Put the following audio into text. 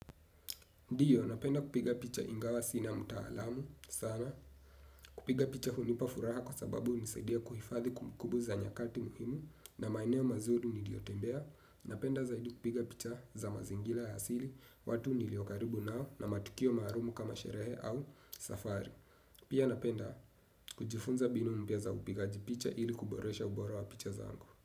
Ndiyo, napenda kupiga picha ingawa sina mtaalamu, sana. Kupiga picha unipafuraha kwa sababu unisaidia kuhifadhi kumbukumbu za nyakati muhimu na maeneo mazuri niliyotembea. Napenda zaidi kupiga picha za mazingira ya asili, watu niliokaribu nao na matukio maalum kama sherehe au safari. Pia napenda kujifunza mbinu mpya za upigaji picha ili kuboresha ubora wa picha zangu.